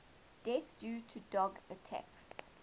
deaths due to dog attacks